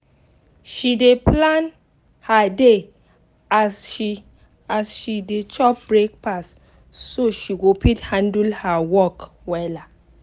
she dey plan her day as she as she dey chop breakfast so she go fit handle her work wella.